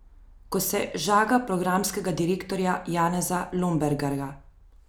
Ko se žaga programskega direktorja Janeza Lombergarja.